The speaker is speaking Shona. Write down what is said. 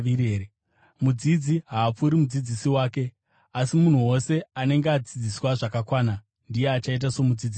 Mudzidzi haapfuuri mudzidzisi wake, asi munhu wose anenge adzidziswa zvakakwana ndiye achaita somudzidzisi wake.